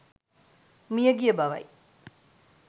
මියගිය බවයි.